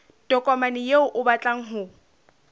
tokomane eo o batlang ho